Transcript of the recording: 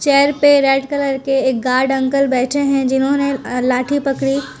chair पे red colour के एक गार्ड अंकल बैठे हैं जिन्होंने लाठी पकड़ी--